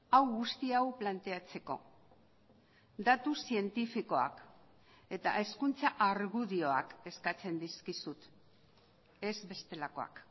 hau guzti hau planteatzeko datu zientifikoak eta hezkuntza argudioak eskatzen dizkizut ez bestelakoak